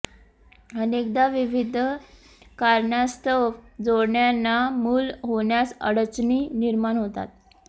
अनेकदा विविध कारणास्तव जोडप्यांना मूल होण्यास अडचणी निर्माण होतात